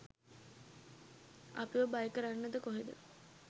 අපිව බය කරන්නද කොහෙද.